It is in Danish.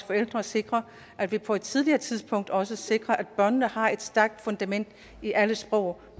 forældre at sikre at vi på et tidligere tidspunkt også sikrer at børnene har et stærkt fundament i alle sprog